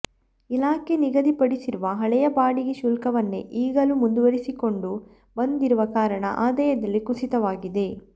ಇಲಾಖೆ ನಿಗದಿ ಪಡಿಸಿರುವ ಹಳೆಯ ಬಾಡಿಗೆ ಶುಲ್ಕವನ್ನೇ ಈಗಲೂ ಮುಂದುವರಿಸಿಕೊಂಡು ಬಂದಿರುವ ಕಾರಣ ಆದಾಯದಲ್ಲಿ ಕುಸಿತವಾಗಿದೆ